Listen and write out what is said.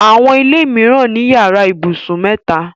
Àwọn ilé mìíràn ni yàrá ibùsùn mẹ́ta.